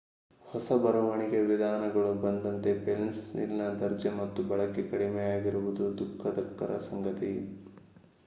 ಹೊಸ ಬರವಣಿಗೆಯ ವಿಧಾನಗಳು ಬಂದಂತೆ ಪೆನ್ಸಿಲ್‌ನ ದರ್ಜೆ ಮತ್ತು ಬಳಕೆ ಕಡಿಮೆಯಾಗಿರುವುದು ದುಃಖಕರ ಸಂಗತಿ